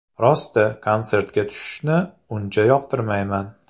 Rosti, konsertga tushishni uncha yoqtirmayman.